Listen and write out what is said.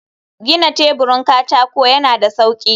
gina teburin katako yana da sauƙi.